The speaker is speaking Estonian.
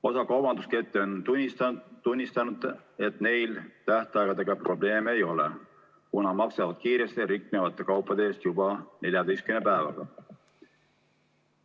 Osa kaubanduskette on kinnitanud, et neil tähtaegadega probleeme ei ole, kuna nad maksavad kiiresti riknevate kaupade eest juba 14 päeva jooksul.